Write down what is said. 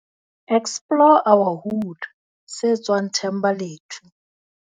Explore our Hood, se tswang Thembalethu.